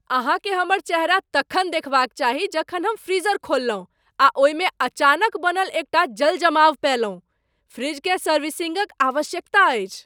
अहाँकेँ हमर चेहरा तखन देखबाक चाही जखन हम फ्रीजर खोललहुँ आ ओहिमे अचानक बनल एकटा जल जमाव पएलहुँ। फ्रिजकेँ सर्विसिंगक आवश्यकता अछि।